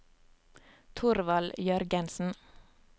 Thorvald Jørgensen